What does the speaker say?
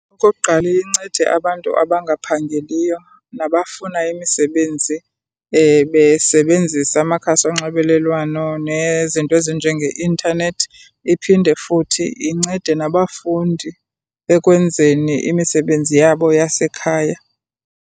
Okokuqala iye incede abantu abangaphangeliyo nabafuna imisebenzi besebenzisa amakhasi onxibelelwano nezinto ezinjengeintanethi. Iphinde futhi incede nabafundi ekwenzeni imisebenzi yabo yasekhaya.